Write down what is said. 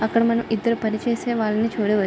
అక్కడ మనం ఇద్దరు పని చేసే వాళ్ళని చూడవచ్చు.